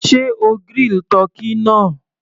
Sé o grill tọ́kì náà?